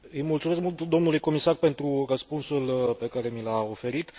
Îi mulțumesc mult domnului comisar pentru răspunsul pe care mi l a oferit.